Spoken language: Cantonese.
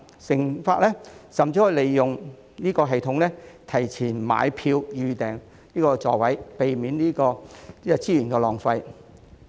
乘客甚至可以利用該系統提前買票及預訂座位，避免資源浪費。